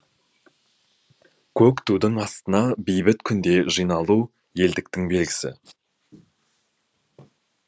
көк тудың астына бейбіт күнде жиналу елдіктің белгісі